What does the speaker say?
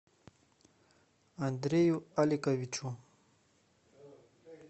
андрею аликовичу